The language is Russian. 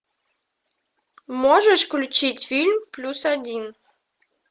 можешь включить фильм плюс один